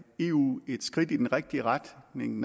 eu et skridt i den rigtige retning